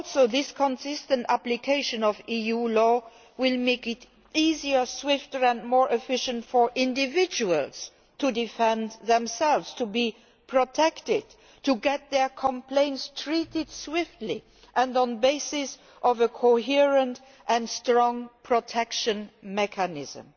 This consistent application of EU law will also make it easier, swifter and more efficient for individuals to defend themselves, to be protected, and to have their complaints dealt with swiftly and on the basis of a coherent and strong protection mechanism.